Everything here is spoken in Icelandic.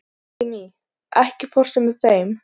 Ími, ekki fórstu með þeim?